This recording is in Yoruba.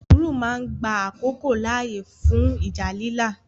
Sùúrù máa ń gba àkókò láàyè fún ìjà lílà.